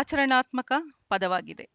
ಆಚರಣಾತ್ಮಕ ಪದವಾಗಿದೆ